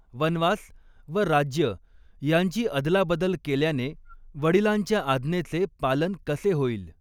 वनवास व राज्य यांची अदलाबदल केल्याने वडिलांच्या आज्ञेचे पालन कसे होईल